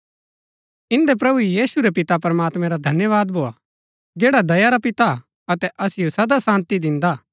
इन्दै प्रभु यीशु रै पिता प्रमात्मैं रा धन्यवाद भोआ जैडा दया रा पिता हा अतै असिओ सदा शान्ती दिन्दा हा